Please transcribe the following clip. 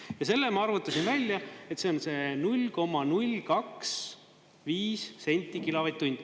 Ja selle ma arvutasin välja, et see on see 0,025 senti kilovatt-tund.